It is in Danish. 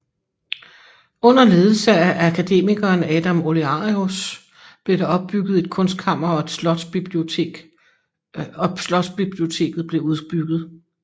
Under ledelse af akademikeren Adam Olearius blev der opbygget et kunstkammer og slotsbiblioteket blev udbygget